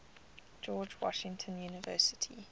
george washington university